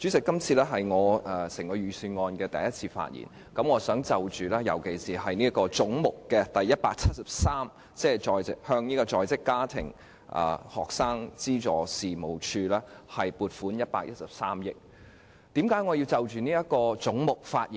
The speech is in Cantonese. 今次是我就財政預算案第一次發言，我尤其想就總目173項下向在職家庭及學生資助事務處撥款113億元的建議發表意見。